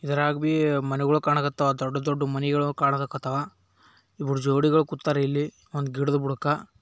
ಇದ್ರಾಗ ಬಿ ಮನಿಗೋಳ್ ಕಾಣಾಕತ್ತಾವ ದೊಡ್ಡ ದೊಡ್ಡ ಮನಿಗೋಳ್ ಕಾಣಾಕತ್ತಾವ. ಇಬ್ಬರ ಜೋಡಿಗಳು ಕುತ್ತಾರ್ ಇಲ್ಲಿ ಒಂದ್ ಗಿಡದ್ ಬುಡಕ.